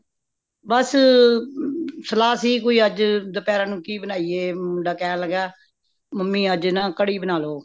ਬੱਸ ਸਲਾਹ ਸੀ ਕਿ ਕੋਈ ਅੱਜ ਦੁਪਹਿਰਾਂ ਨੂੰ ਕੀ ਬਣਾਈਏ ਅੰ ਮੁੰਡਾ ਕਹਿਣ ਲੱਗਾ mummy ਅੱਜ ਨਾ ਕੜੀ ਬਣਾ ਲਓ